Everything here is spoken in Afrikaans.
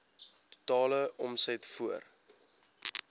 totale omset voor